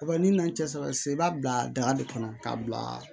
Wa n'i nana n tɛ sara sisan i b'a bila daga de kɔnɔ k'a bila